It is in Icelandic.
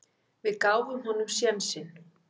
Við gáfum honum sénsinn.